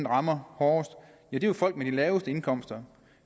rammer hårdest det er jo folk med de laveste indkomster